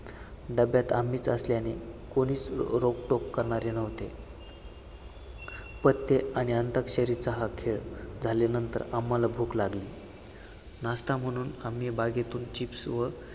डब्यात आम्हीच असल्याने कोणी रोकटोक करणारे नव्हते. पत्ते आणि अंताक्षरीचा हा खेळ झाल्यानंतर आम्हाला भूक लागली. नाश्ता म्हणून आम्ही bag तून chips व